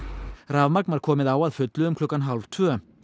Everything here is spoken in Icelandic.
rafmagn var komið á að fullu um klukkan hálf tvö